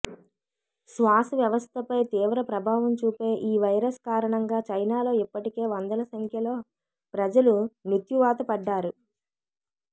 శ్వాస వ్యవస్థపై తీవ్ర ప్రభావం చూపే ఈ వైరస్ కారణంగా చైనాలో ఇప్పటికే వందల సంఖ్యలో ప్రజలు మృత్యువాత పడ్డారు